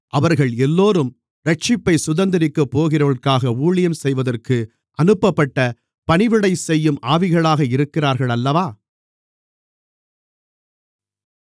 அவர்கள் எல்லோரும் இரட்சிப்பைச் சுதந்தரிக்கப்போகிறவர்களுக்காக ஊழியம் செய்வதற்கு அனுப்பப்பட்ட பணிவிடை செய்யும் ஆவிகளாக இருக்கிறார்கள் அல்லவா